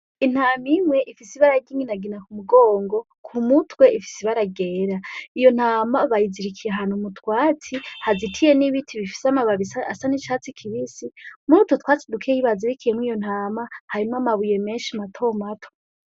Intam'imwe ifis'ibara ry'inginagina k'umugongo , k'umutwe ifis'ibara ryera . Iyo ntama bayizirikiye ahantu mu twatsi hazitiye n'ibiti bifise amababi asa n'icatsi kibisi , m'urutwo twatsi dukeyi bazirikiyemwo iyo ntama harimw'amabuye menshi matomato.